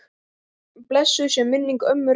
Blessuð sé minning ömmu Rögnu.